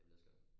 Det bliver skønt